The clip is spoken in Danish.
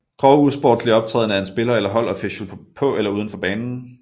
Grov usportslig optræden af en spiller eller holdofficial på eller uden for banen